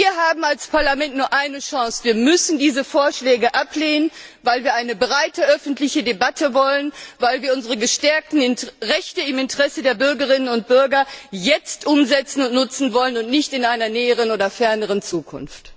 Wir haben als Parlament nur eine Chance Wir müssen diese Vorschläge ablehnen, weil wir eine breite öffentliche Debatte wollen, weil wir unsere gestärkten Rechte im Interesse der Bürgerinnen und Bürger jetzt umsetzen und nutzen wollen und nicht in einer näheren oder ferneren Zukunft.